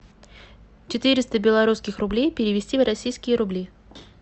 четыреста белорусских рублей перевести в российские рубли